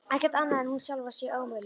Ekkert annað en að hún sjálf sé ómöguleg.